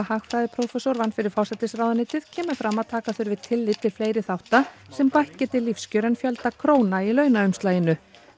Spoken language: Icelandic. hagfræðiprófessor vann fyrir forsætisráðuneytið kemur fram að taka þurfi tillit til fleiri þátta sem bætt geti lífskjör en fjölda króna í launaumslaginu